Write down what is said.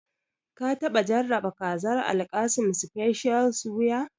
Ka taɓa jarraba kazar Alkassim special suya?